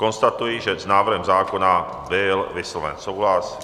Konstatuji, že s návrhem zákona byl vysloven souhlas.